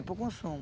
Para o consumo.